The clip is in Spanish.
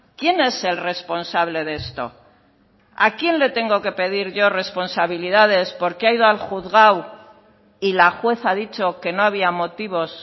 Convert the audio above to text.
quién es el responsable de esto a quién le tengo que pedir yo responsabilidades porque ha ido al juzgado y la juez ha dicho que no había motivos